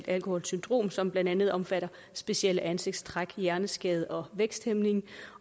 alkoholsyndrom som blandt andet omfatter specielle ansigtstræk hjerneskade og væksthæmning